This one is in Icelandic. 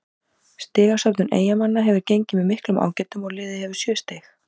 Stigasöfnun Eyjamanna hefur gengið með miklum ágætum og liðið hefur sjö stig.